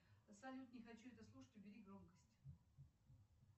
салют не хочу это слушать убери громкость